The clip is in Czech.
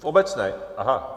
V obecné. Aha.